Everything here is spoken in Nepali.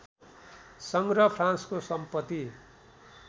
सङ्ग्रह फ्रान्सको सम्पत्ति